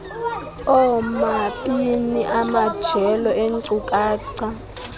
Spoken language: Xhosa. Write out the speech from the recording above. oomabini amajelo eenkcukacha